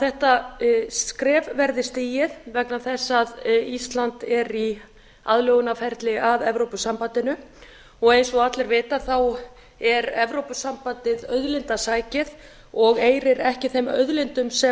þetta skref verði stigið vegna þess að ísland er í aðlögunarferli að evrópusambandinu og eins og allir vita er evrópusambandið auðlindasækið og eirir ekki þeim auðlindum sem